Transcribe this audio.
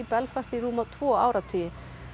Belfast í rúma tvo áratugi